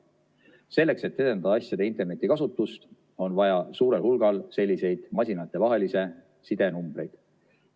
Selleks, et edendada asjade interneti kasutust, on vaja suurel hulgal selliseid masinatevahelise side numbreid.